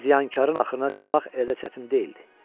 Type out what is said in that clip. İndi ziyanxarın axırına çıxmaq elə də çətin deyildi.